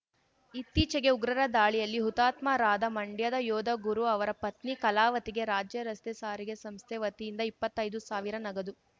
ಇತ್ತೀಚೆಗೆ ಉಗ್ರರ ದಾಳಿಯಲ್ಲಿ ಹುತಾತ್ಮರಾದ ಮಂಡ್ಯದ ಯೋಧ ಗುರು ಅವರ ಪತ್ನಿ ಕಲಾವತಿಗೆ ರಾಜ್ಯ ರಸ್ತೆ ಸಾರಿಗೆ ಸಂಸ್ಥೆ ವತಿಯಿಂದ ಇಪ್ಪತ್ತೈದು ಸಾವಿರ ನಗದು